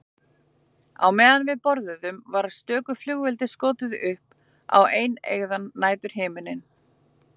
Á meðan við borðuðum var stöku flugeldi skotið upp á eineygðan næturhimininn.